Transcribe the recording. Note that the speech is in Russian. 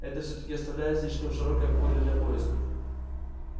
это всё-таки оставляет слишком широкое поле для поисков